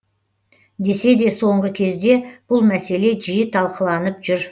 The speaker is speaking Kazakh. десе де соңғы кезде бұл мәселе жиі талқыланып жүр